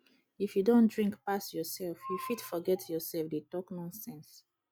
if you don drink pass yourself you fit forget yourself dey talk nonsense